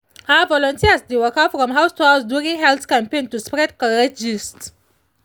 ah volunteers dey waka from house to house during health campaign to spread correct gist